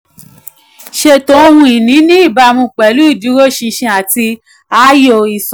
ṣètò ohun ìní ní ìbámu pẹ̀lú ìdúróṣinṣin àti ààyò ìsanwó.